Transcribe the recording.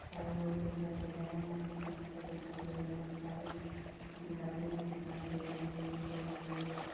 सारे लोग दिखाई दे रहे हैं यहाँ पे एक मका दिखाई दे रहे बहुत सारे लकड़ियाँ दिखाई दे रही हैं बोरी दिखाई दे रही है।